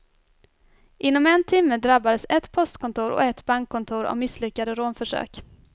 Inom en timme drabbades ett postkontor och ett bankkontor av misslyckade rånförsök.